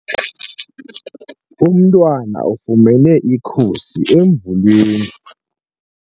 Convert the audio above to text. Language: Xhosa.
Umntwana ufumene ikhusi emvuleni.